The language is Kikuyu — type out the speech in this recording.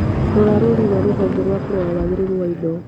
Rora rũrĩ rwa rũhonge rwa kũrora wagĩrĩru wa indo